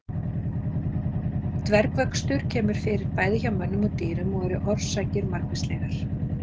Dvergvöxtur kemur fyrir bæði hjá mönnum og dýrum og eru orsakir margvíslegar.